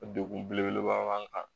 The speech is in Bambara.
Degun belebeleba b'an kan